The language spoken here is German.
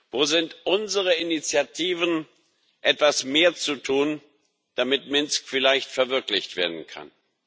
Wo sind unsere Initiativen, etwas mehr zu tun, damit Minsk vielleicht verwirklicht werden kann?